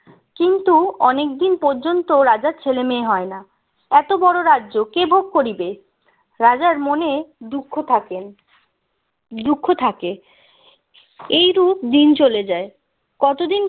কিন্তু অনেক দিন পর্যন্ত রাজার ছেলে মেয়ে হয় না এত বড় রাজ্য কে ভোগ করিবে রাজার মনে দুঃখ থাকেন দুঃখ থাকে এই রূপ দিন চলে যায় কতদিন